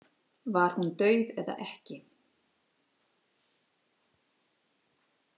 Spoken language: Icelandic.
Var hún dauð eða ekki?